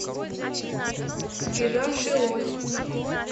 сбежавший лось